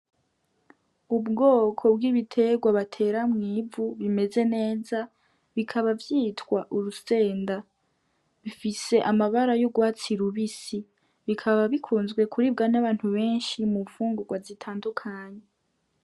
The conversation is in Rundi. Ubwoko bw'ibitegwa batera mw'ivu bimeze neza bikaba vyitwa urusenda bifise amabara y'ugwatsi rubisi bikaba bikunzwe kuribwa n'abantu benshi mu mfungugwa zitandukanye.